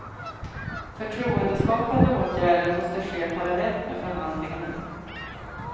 Förtroendeskapande åtgärder måste ske parallellt med förhandlingar.